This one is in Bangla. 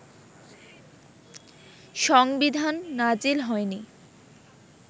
সংবিধান নাজিল হয়নি